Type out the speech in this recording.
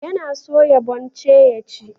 Yana soya bonce ya ci.